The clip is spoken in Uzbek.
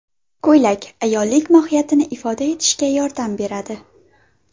Ko‘ylak − ayollik mohiyatini ifoda etishga yordam beradi.